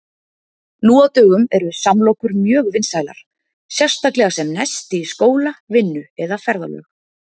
Nú á dögum eru samlokur mjög vinsælar, sérstaklega sem nesti í skóla, vinnu eða ferðalög.